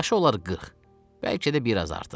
Yaşı olar 40, bəlkə də biraz artıq.